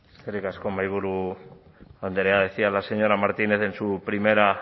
eskerrik asko mahaiburu andrea decía la señora martínez en su primera